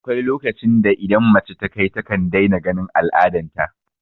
Akwai lokacin da idan mace ta kai takan daina ganin al'adan ta